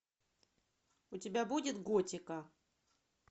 у тебя будет готика